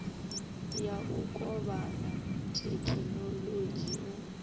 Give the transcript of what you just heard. ya u kovhana thekhinolodzhi u